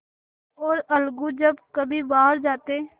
और अलगू जब कभी बाहर जाते